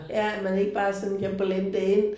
Ja at man ikke bare sådan kan blende ind